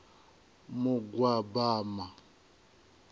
mugwabama